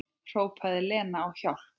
Hrópaði Lena á hjálp?